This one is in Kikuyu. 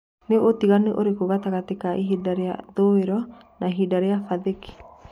ni utiganu ũrĩkũ gatagati kaĩhĩnda rĩaĩthũĩro naĩhĩnda rĩa pathifiki